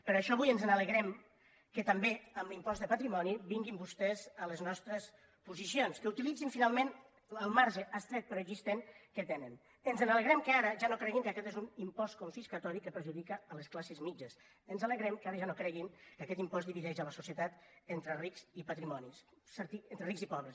per això avui ens alegrem que també en l’impost de patrimoni vinguin vostès a les nostres posicions que utilitzin finalment el marge estret però existent que tenen ens alegrem que ara ja no creguin que aquest és un impost confiscatori que perjudica les classes mitjanes ens alegrem que ara ja no creguin que aquest impost divideix la societat entre rics i pobres